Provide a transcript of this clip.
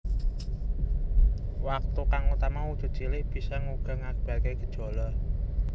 Watu kang utama wujud cilik bisa uga ngakibatake gejala